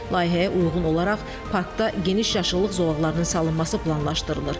Layihəyə uyğun olaraq parkda geniş yaşıllıq zolaqlarının salınması planlaşdırılır.